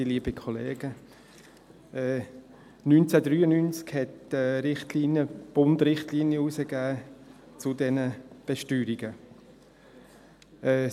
Im Jahr 1993 hat der Bund eine Richtlinie zu diesen Besteuerungen herausgegeben.